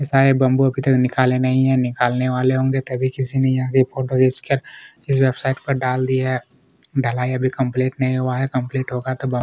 ये सारे बम्बू इधर निकाले नहीं है निकालने वाले होंगे तभी किसी ने यहाँ की फोटो खींच कर इस वेबसाइट पर डाल दिया है कंप्लीट नहीं हुआ है कम्पलीट होगा तो --